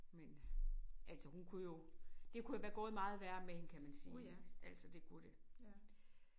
Men altså hun kunne jo det kunne jo være gået meget værre med hende kan man sige altså det kunne det